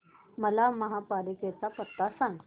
मला महापालिकेचा पत्ता सांग